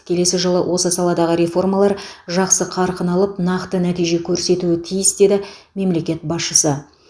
келесі жылы осы саладағы реформалар жақсы қарқын алып нақты нәтиже көрсетуі тиіс деді мемлекет басшысы